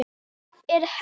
Það eru hennar.